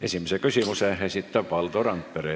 Esimese küsimuse ettekandjale esitab Valdo Randpere.